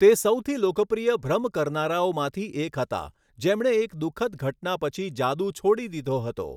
તે સૌથી લોકપ્રિય ભ્રમ કરનારાઓમાંથી એક હતા જેમણે એક દુઃખદ ઘટના પછી જાદુ છોડી દીધો હતો.